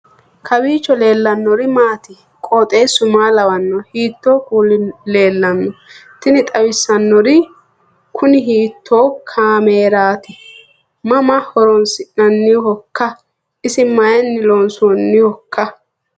kowiicho leellannori maati ? qooxeessu maa lawaanno ? hiitoo kuuli leellanno ? tini xawissannori kuni hiitto kaameerati mama horoonsi'nannihoikka isi mayinni loonsoonnihoiika